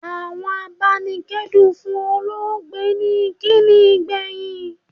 Àwọn abanikedun fún olóògbé ní ìkíni ìgbẹ̀yìn.